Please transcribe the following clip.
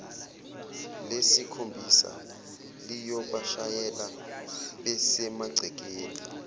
lesikhombisa liyobashayela besemagcekeni